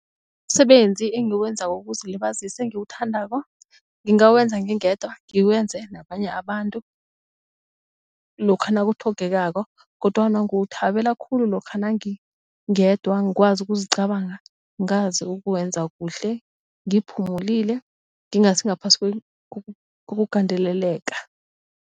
Umsebenzi engiwenzako wokuzilibazisa engiwuthandako ngingawenza ngingedwa ngiwenze nabanye abantu lokha nakutlhogekako kodwana ngiwuthabela khulu lokha nangingedwa ngikwazi ukuzicabanga ngazi ukuwenza kuhle ngiphumulile ngingasingaphasi kokugandeleleka.